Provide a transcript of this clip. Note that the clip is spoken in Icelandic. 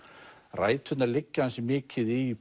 ræturnar liggja ansi mikið í